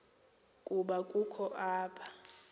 ukuba ukho apha